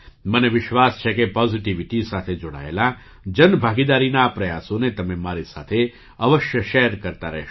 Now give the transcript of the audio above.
મને વિશ્વાસ છે કે પૉઝિટિવિટી સાથે જોડાયેલા જનભાગીદારીના આ પ્રયાસોને તમે મારી સાથે અવશ્ય શૅર કરતા રહેશો